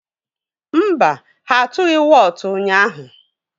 Mba, ha atụghị wọọtụ ụnyaahụ.